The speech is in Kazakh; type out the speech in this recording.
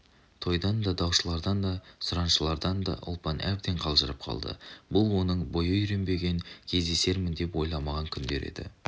тойдан да даушылардан да сұраншылардан да ұлпан әбден қалжырап қалды бұл оның бойы үйренбеген кездесермін деп ойламаған күндері еді